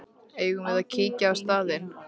Eigum við að kíkja á staðinn?